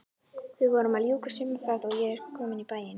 Við vorum að ljúka sumarferð og ég kominn í bæinn.